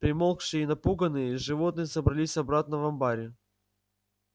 примолкшие и напуганные животные собрались обратно в амбаре